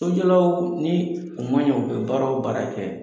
Sojɔlaw ni u man ɲɛ, u bɛ baara o baara kɛ